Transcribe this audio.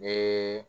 Ne